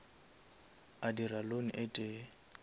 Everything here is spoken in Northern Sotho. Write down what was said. a dira loan e tee